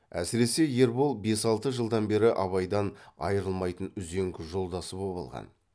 әсіресе ербол бес алты жылдан бері абайдан айырылмайтын үзеңгі жолдасы боп алған